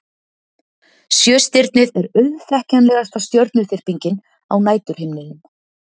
sjöstirnið er auðþekktasta stjörnuþyrpingin á næturhimninum